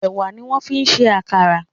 Ẹwà ní wón fín ṣe àkàrà.